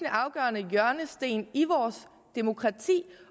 afgørende hjørnesten i vores demokrati